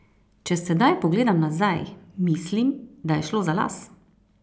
Če sedaj pogledam nazaj, mislim, da je šlo za las!